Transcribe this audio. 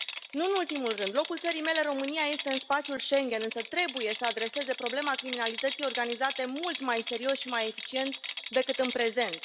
Nu în ultimul rând, locul țării mele, România, este în spațiul Schengen însă trebuie să adreseze problema criminalității organizate mult mai serios și mai eficient decât în prezent.